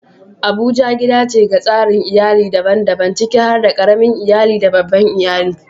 Abuja gida ce ga tsarin iyali daban-daban, ciki har da ƙaramin iyali da babban iyali.